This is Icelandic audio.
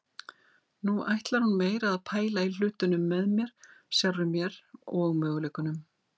Nú ætlar hún meira að pæla í hlutunum með mér, sjálfri mér og möguleikunum.